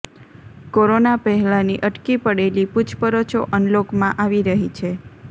corona પહેલાની અટકી પડેલી પૂછપરછો અનલોકમાં આવી રહી છે